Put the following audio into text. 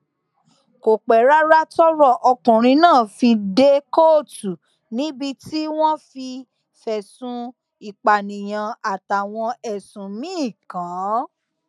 kò pẹ rárá tọrọ ọkùnrin náà fi dé kóòtù níbi tí wọn ti fẹsùn ìpànìyàn àtàwọn ẹsùn míín kàn án